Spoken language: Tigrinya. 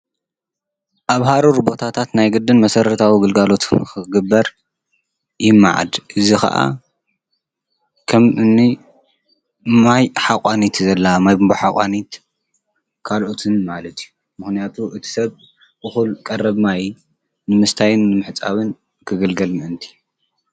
አብ ሃሩር ቦታታት ናይ ግድን መሰረታዊ ግልጋሎት ክግበር ይመዓድ። እዙይ ከዓ ከም እኒ ማይ ቡምባ ሓቋኒት ካልኦትን ማለት እዩ ። ምክንያቱ እቲ ሰብ እኩል ቀረብ ማይ ንምስታይን ንምሕፃብን ክግልገል ምእንቲ ።